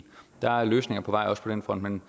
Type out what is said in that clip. der er løsninger på vej også på den front men